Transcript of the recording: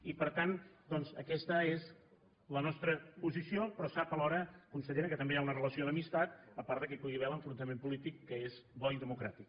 i per tant doncs aquesta és la nostra posició però sap alhora consellera que també hi ha una relació d’amistat a part que hi pugui haver l’enfrontament polític que és bo i democràtic